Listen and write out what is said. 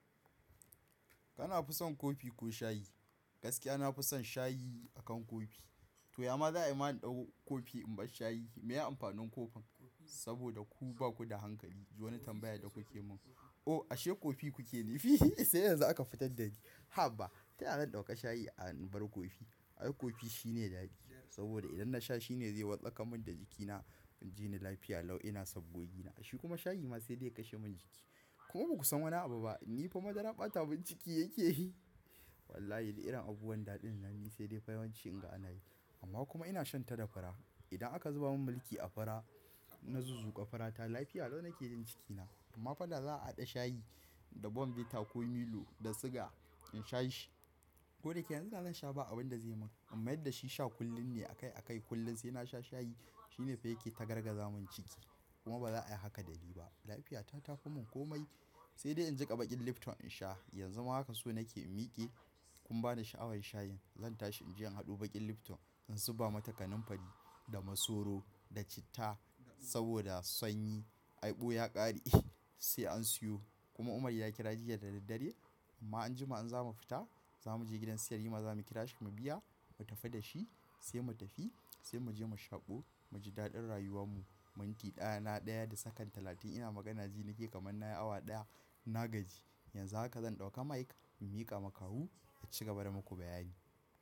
Kana fi son kofi ko shayi? Gaskiya na fison shayi akan kofi. To, yamma za'a yi mana ɗauko kofi in bar shayi. Meya amfanin kofin? Saboda ku baku da hankali. Wani tambaya da kuke mun. Oh, ashe kofi kuke nufi? Sai yanzu aka fitar da ni. Haba, taya zan dauka shayi a bar kofi. Ai kofi shine daɗi saboda idan nasha shine zai wartsaka min da jikina, in jini lafiya lau ina sabbogi na. A shikuma shayi ma sai dai ya kashe min jiki. Kuma baku san wani abu ba. Ni fa madara ɓata min ciki yake yi. Wallahi, irin abubuwan daɗin nan ni sai dai fa yawanci in ga ana yi. Amma kuma ina shan ta da fara. Idan aka zuba min mulki a fura, na zuzzuƙa furata lafiya lau nake jin cikina. Amma fa da za'a haɗa shayi da bonbita ko Milo da siga in sha shi. Ko dayake yanzu zan sha ba abunda zai min. Amma yadda shi sha kullum ne akai akai kullum sai na sha shayi shine fage ta garga zamun ciki. Kuma ba za'a yi haka da ni ba. Lafiyata ta fi mun komai. Sai dai in jiƙa baƙin Lipton in sha. Yanzu ma haka so nake in miƙe. Kun bani sha'awar shayin. Zan tashi in je in haɗu baƙin Lipton in zuba mata kanamfari, da masoro, da citta saboda sanyi. Ai ɓuya ƙare sai an siyo. Kuma Umar ya kira jiya da daddare. Amma anjima an za mu fita. Za mu je gidan siyayya ma za mu kira shi mu biya mu tafi da shi sai mu tafi sai mu je mu shaƙo mu ji daɗin rayuwan mu. Manti ɗaya na ɗaya da tsakan talatin ina magana jini ke kaman na yi awa ɗaya na gaji. Yanzu haka zan ɗauka mic in miƙa makawu ya ci gaba da maku bayani.